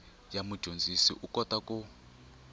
ya mudyondzi u kota ku